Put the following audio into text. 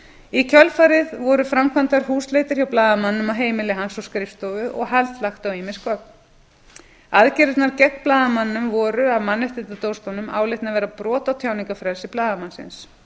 í kjölfarið voru framkvæmdar húsleitir hjá blaðamanninum á heimili hans og skrifstofu og hald lagt á ýmis gögn aðgerðirnar gegn blaðamanninum voru af mannréttindadómstólnum álitnar vera brot á tjáningarfrelsi blaðamannsins